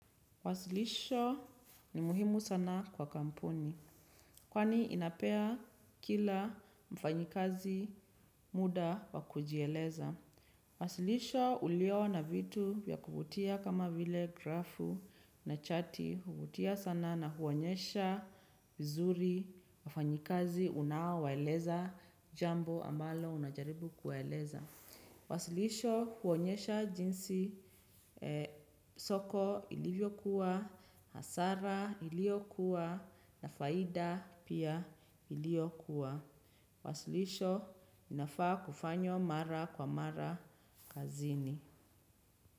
Wasilisho ni muhimu sana kwa kampuni. Kwani inapea kila mfanyikazi muda wa kujieleza. Wasilisho ulio na vitu vya kuvutia kama vile grafu na chati. Huvutia sana na huonyesha vizuri mfanyikazi unaowaeleza jambo ambalo unajaribu kuwaeleza. Wasilisho huonyesha jinsi soko ilivyokuwa, hasara iliyokuwa na faida pia iliyokuwa. Wasilisho inafaa kufanywa mara kwa mara kazini.